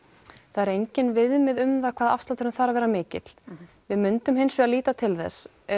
það eru engin viðmið um það hvað afslátturinn þarf að vera mikil við myndum hins vegar líta til þess